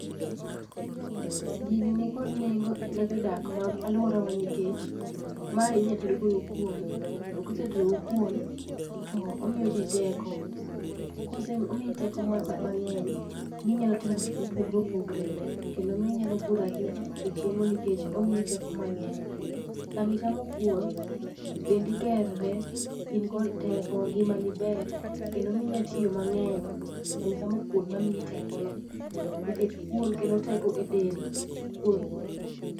Gini ni kod neng'o ne jodak mag aluora wa nikech mae inya tedo godo kwon to kisetedo godo kwon to miyo ji teko kose miyi teko moro mang'eny minyalo timo gik mopogore opogere kendo minyalo budho ahinya ka pok ichiemo nikech omiyi teko mang'eny sami chamo kwon dendi gere in kod teko ngima ni ber kendo minya tiyo mang'eny sanichamo kwon mamiyi tekono nikech kwon kelo teko e del kwon.